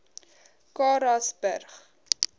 karasburg